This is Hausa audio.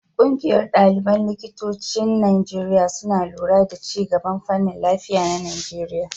Ƙungiyar ɗaliban likitocin Najeriya suna lura da ci gaban fannin lafiya na Najeriya.